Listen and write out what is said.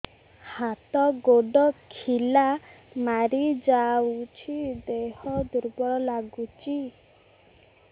ହାତ ଗୋଡ ଖିଲା ମାରିଯାଉଛି ଦେହ ଦୁର୍ବଳ ଲାଗୁଚି